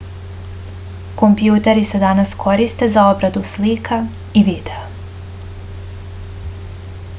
kompjuteri se danas koriste za obradu slika i videa